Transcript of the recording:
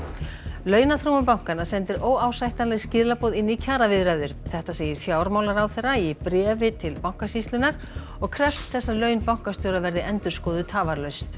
launaþróun bankanna sendir óásættanleg skilaboð inn í kjaraviðræður þetta segir fjármálaráðherra í bréfi til Bankasýslunnar og krefst þess að laun bankastjóra verði endurskoðuð tafarlaust